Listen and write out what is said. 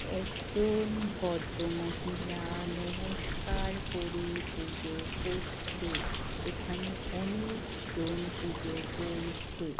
একজন ভদ্রমহিলা-আ নমস্কার করে পুজো-ও করছে-এ এখানে অনেইকজন পুজো-ও করছে-এ -